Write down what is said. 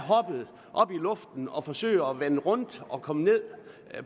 hoppet op i luften og forsøger at vende rundt og komme ned